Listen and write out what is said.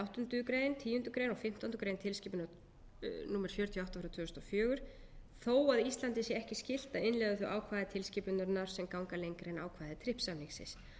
áttundu greinar tíundu greinar og fimmtándu grein tilskipunar númer sjötíu og átta tvö þúsund og fjögur fjórar átta e b þó að íslandi sé ekki skylt að innleiða þau ákvæði tilskipunarinnar sem ganga lengra en ákvæði trips samningsins